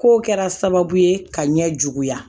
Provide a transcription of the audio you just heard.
Kow kɛra sababu ye ka ɲɛ juguya